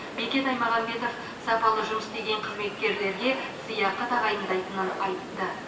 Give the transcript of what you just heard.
бекет аймағамбетов сапалы жұмыс істеген қызметкерлерге сыйақы тағайындайтынын айтты